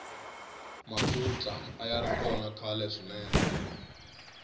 makhutla ayari kona khalwe swinene